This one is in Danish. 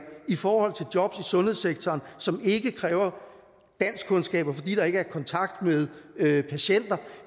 i forhold til jobs i sundhedssektoren som ikke kræver danskkundskaber fordi der ikke er kontakt med patienter